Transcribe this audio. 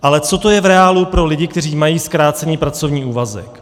Ale co to je v reálu pro lidi, kteří mají zkrácený pracovní úvazek?